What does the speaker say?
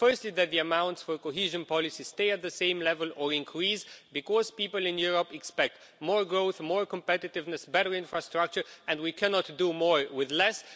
Firstly, that the amounts for cohesion policy stay at the same level or increase, because people in Europe expect more growth, more competitiveness, better infrastructure, and we cannot do more with less.